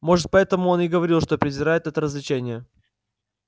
может поэтому он и говорил что презирает это развлечение